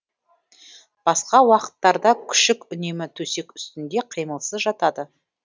басқа уақыттарда күшік үнемі төсек үстінде қимылсыз жатады